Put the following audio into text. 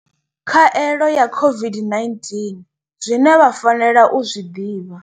Khaelo ya COVID-19 zwine vha fanela u zwi ḓivha.